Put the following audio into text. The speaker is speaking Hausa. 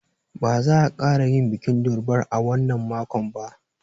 Ba za a ƙara yin bikin durbar a wannan makon ba.